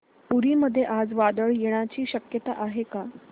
पुरी मध्ये आज वादळ येण्याची शक्यता आहे का